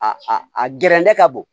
A a gɛrɛndɛ ka bon